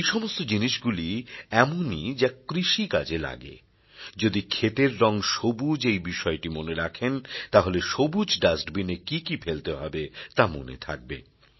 এই সমস্ত জিনিসগুলি এমনই যা কৃষিকাজে লাগে যদি খেতের রঙ সবুজ এই বিষয়টি মনে রাখেন তাহলে সবুজ ডাস্টবিন এ কী কী ফেলতে হবে তা মনে থাকবে